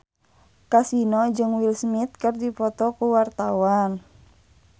Kasino jeung Will Smith keur dipoto ku wartawan